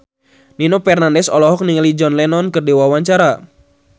Nino Fernandez olohok ningali John Lennon keur diwawancara